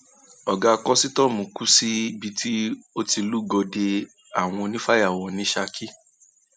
ọgá kọsítọọmù kù síbi tó ti lúgọ de àwọn onífàyàwọ ní ṣákì